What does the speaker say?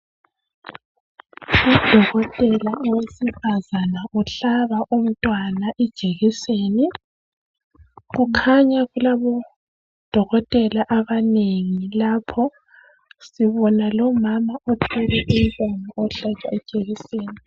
Udokotela owesifazana uhlaba umntwana ijekiseni kukhanya kulabodokotela abanengi lapho sibona lomama othwele umntwana ohlatshwa ijekiseni.